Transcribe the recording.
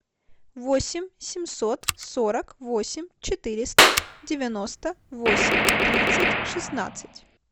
восемь семьсот сорок восемь четыреста девяносто восемь тридцать шестнадцать